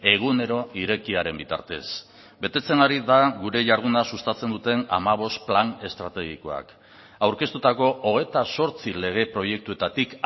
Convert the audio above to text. egunero irekiaren bitartez betetzen ari da gure jarduna sustatzen duten hamabost plan estrategikoak aurkeztutako hogeita zortzi lege proiektuetatik